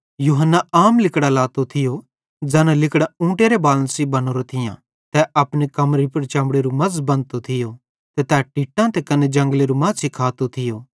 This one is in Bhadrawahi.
यूहन्ना आम लिगड़ां लातो थियो ज़ैना लिगड़ां ऊँटेरे बालन सेइं बनोरां थियां तै अपनी कमरी पुड़ चमड़ेरू मज़ बंधतो थियो ते तै टिट्टां त कने जंगलेरू माछ़ी खातो थियो